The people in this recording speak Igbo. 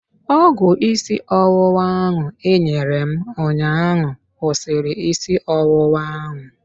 Ọgwụ isi ọwụwa ahụ ị nyere m ụnyaahụ kwụsịrị isi ọwụwa ahụ.